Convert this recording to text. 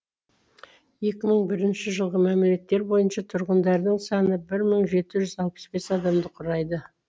екі мың бірінші жылғы мәліметтер бойынша тұрғындарының саны бір мың жеті жүз алпыс бес адамды құрайды